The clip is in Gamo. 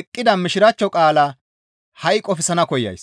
eqqida Mishiraachcho qaalaa ha7i qofsana koyays.